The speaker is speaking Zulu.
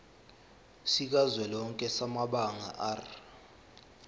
sikazwelonke samabanga r